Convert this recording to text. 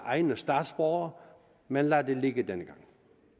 egne statsborgere men lad det ligge denne gang